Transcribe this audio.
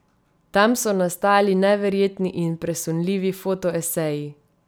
Tam so nastali neverjetni in presunljivi fotoeseji.